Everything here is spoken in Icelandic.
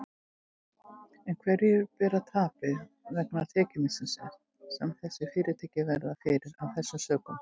En hverjir bera tapið vegna tekjumissisins sem þessi fyrirtæki verða fyrir af þessum sökum?